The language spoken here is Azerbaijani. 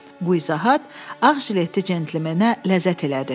Bu izahat ağjiletli centlmenə ləzzət elədi.